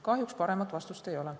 Kahjuks paremat vastust ei ole.